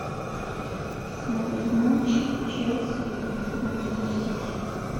смотреть матч челси и манчестер сити